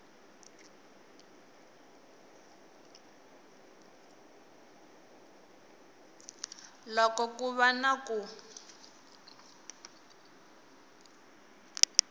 loko ku va na ku